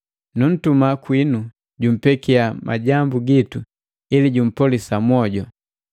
Nuntuma kwinu jumpekiya majambu gitu ili jumpolisa mwoju.